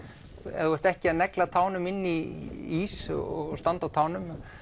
ef þú ert ekki að negla tánum í ís og standa á tánum